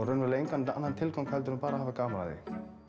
raunverulega engan annan tilgang en bara að hafa gaman af því